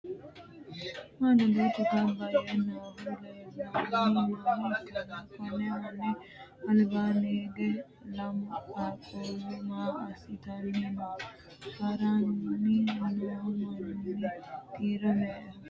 Manu duuchu ganba yee noohu leellanni nooha ikanna konni manni albaanni hige lamu qaaquulu maa asitanni no? Haranni noo manni kiiro me"eho?